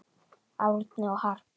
Árni og Harpa.